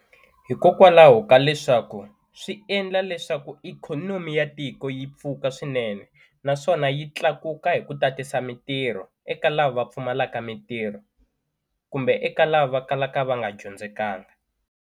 Hikokwalaho ka leswaku swi endla leswaku ikhonomi ya tiko yi pfuka swinene naswona yi tlakuka hi ku tatisa mintirho eka lava pfumalaka mintirho kumbe eka lava kalaka va nga dyondzekanga.